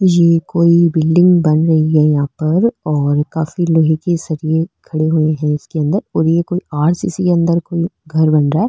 ये कोई बिल्डिंग बन रही है यहाँ पर और काफी लोहे के सरिए खड़े हुए है इसके अंदर और ये कोई आर.सी. सी. के अंदर घर बन रहा है।